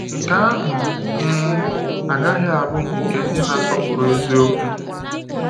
Nke ahụ um agaghị abụ nke ndị na-asọpụrụ eziokwu.